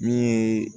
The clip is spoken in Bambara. Min ye